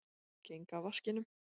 Geng að vaskinum.